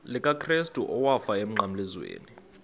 likakrestu owafayo emnqamlezweni